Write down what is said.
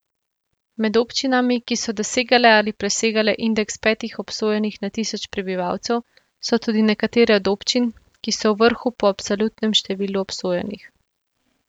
Med občinami, ki so dosegale ali presegale indeks petih obsojenih na tisoč prebivalcev, so tudi nekatere od občin, ki so v vrhu po absolutnem številu obsojenih.